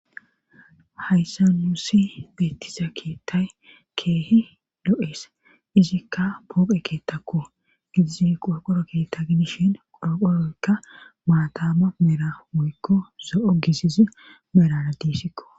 hayssa nuusi beettiza keettay keehi do7ees izikka pooqe keettakko idizi qorqoro keetta gidishin qoroqoroykka maatama mera muykko zo7o gizizi merara diissikko